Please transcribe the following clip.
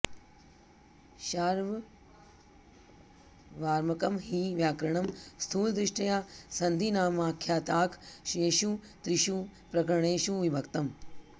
शार्वर्वामकं हि व्याकरणं स्थूलदृष्ट्या सन्धिनामाख्याताख्येषु त्रिषु प्रकरणेषु विभक्तम्